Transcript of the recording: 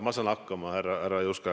Ma saan hakkama, härra Juske.